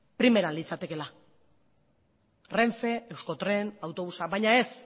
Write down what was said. primeran litzatekeela renfe euskotren autobusa baina ez